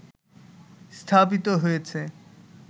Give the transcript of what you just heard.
স্থাপিত হয়েছে